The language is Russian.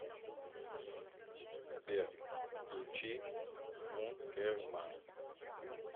сбер включи функерман